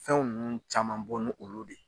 Fɛnw nn caman bɔ ni olu de